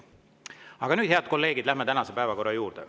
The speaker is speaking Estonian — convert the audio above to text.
Aga nüüd, head kolleegid, läheme tänase päevakorra juurde.